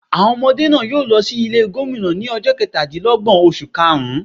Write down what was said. Àwọn ọmọdé náà yóò lo sí Ilé Gómìnà ní ojó Ketàdínlógbòn oṣù kaàrún